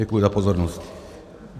Děkuji za pozornost.